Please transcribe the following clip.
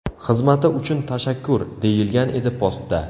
Xizmati uchun tashakkur!” deyilgan edi postda.